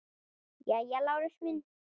Jæja, Lárus minn.